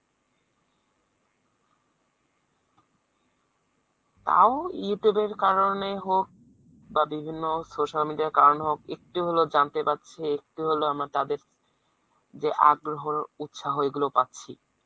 তাও youtube এর কারণে হোক বা বিভিন্ন social media র কারণে হোক একটু হলেও জানতে পারছে একটু হলেও আমারা তাদের যে আগ্রহ উত্সাহ এগুলো পাচ্ছি।